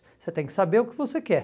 Você tem que saber o que você quer.